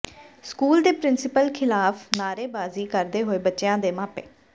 school ਦੇ principal ਖ਼ਿਲਾਫ਼ ਨਾਅਰੇਬਾਜ਼ੀ ਕਰਦੇ ਹੋਏ ਬੱਚਿਆਂ ਦੇ ਮਾਪੇ